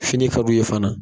Fini ka d'u ye fana.